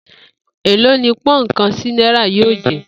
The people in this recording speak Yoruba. Èló ni pó̩ùn kan sí náírà yóò jé̩?